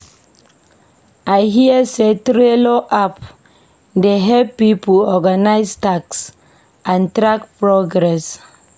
I hear sey Trello app dey help pipo organise tasks and track progress.